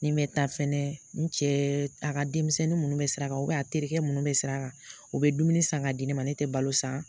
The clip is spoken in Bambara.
Ni n bɛ taa fɛnɛ, n cɛɛ a ka denmisɛnnin minnu bɛ sira kan a terikɛ minnu bɛ sira kan, u bɛ dumuni san ka di ne ma, ne tɛ balo san.